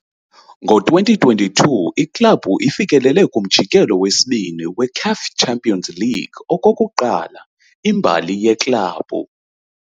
Ngo-2022, iklabhu ifikelele kuMjikelo weSibini weCAF Champions League okokuqala imbali yeklabhu.